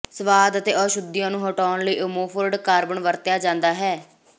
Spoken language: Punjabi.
ਸੁਆਦ ਅਤੇ ਅਸ਼ੁੱਧੀਆਂ ਨੂੰ ਹਟਾਉਣ ਲਈ ਅਮੋਫੋਰਡ ਕਾਰਬਨ ਵਰਤਿਆ ਜਾਂਦਾ ਹੈ